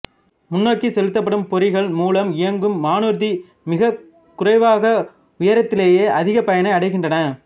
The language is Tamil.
முன்னோக்கி செலுத்தப்படும் பொறிகள் மூலம் இயங்கும் வானூர்தி மிகக் குறைவாக உயரத்திலேயே அதிக பயனை அடைகின்றன